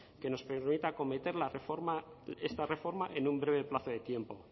que nos permita acometer la reforma esta reforma en un breve plazo de tiempo